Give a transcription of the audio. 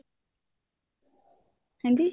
ਹਾਂਜੀ